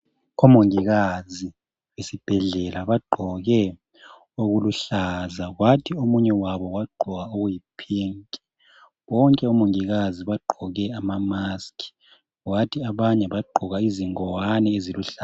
Omongikazi esibhedlela bagqoke okuluhlaza kwathi omunye wabo wagqoka okuyipink. Bonke omongikazi bagqoke amamask kwathi abanye bagqoka izingowane eziluhlaza.